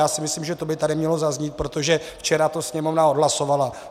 Já si myslím, že to by tady mělo zaznít, protože včera to Sněmovna odhlasovala.